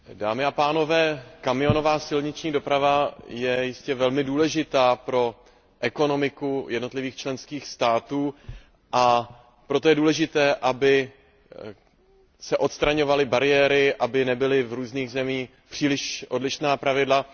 Dámy a pánové, kamionová silniční doprava je jistě velmi důležitá pro ekonomiku jednotlivých členských států, a proto je důležité, aby se odstraňovaly bariéry, aby nebyly v různých zemích příliš odlišná pravidla.